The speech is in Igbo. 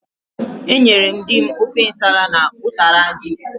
Enyere m dim ofe nsala na ụtara ji.